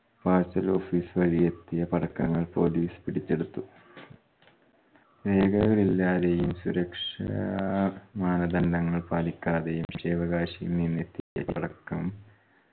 parcel office വഴി എത്തിയ പടക്കങ്ങൾ police പിടിച്ചെടുത്തു രേഖകളില്ലാതെയും സുരക്ഷാ മാനദണ്ഡങ്ങൾ പാലിക്കാതെയും നിന്നെത്തിയ പടക്കം